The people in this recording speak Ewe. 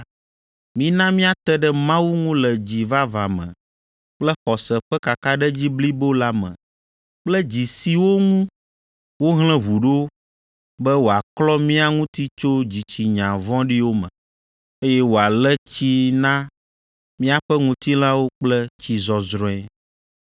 mina míate ɖe Mawu ŋu le dzi vavã me kple xɔse ƒe kakaɖedzi blibo la me kple dzi siwo ŋu wohlẽ ʋu ɖo be wòaklɔ mía ŋuti tso dzitsinya vɔ̃ɖiwo me, eye wòale tsi na míaƒe ŋutilãwo kple tsi zɔzrɔ̃e.